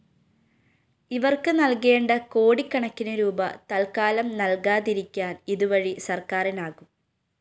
ഇവര്‍ക്ക് നല്‍കേണ്ട കോടിക്കണക്കിന് രൂപീ തല്‍ക്കാലം നല്‍കാതിരിക്കാന്‍ ഇതുവഴി സര്‍ക്കാറിനാകും